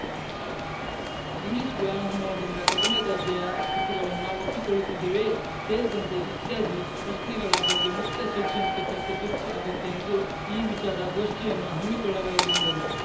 English ವ್ಯಾಮೋಹದಿಂದ ಕಡಿಮೆ ದರ್ಜೆಯ ಕೃತಿಗಳನ್ನು ನಾವು ಒಪ್ಪಿಕೊಳ್ಳುತ್ತಿದ್ದೇವೆಯೇ ಸೇರಿದಂತೆ ಇತ್ಯಾದಿ ಪ್ರಶ್ನೆಗಳ ಬಗ್ಗೆ ಮುಕ್ತ ಶೈಕ್ಷಣಿಕ ಚರ್ಚೆ ತುರ್ತು ಅಗತ್ಯ ಎಂದು ಈ ವಿಚಾರ ಗೋಷ್ಠಿಯನ್ನು ಹಮ್ಮಿಕೊಳ್ಳಲಾಗಿದೆ ಎಂದರು